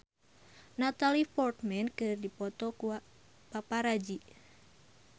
Natalie Portman dipoto ku paparazi